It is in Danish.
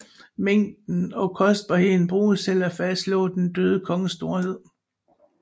Mængden og kostbarheden bruges til at fastslå den døde konges storhed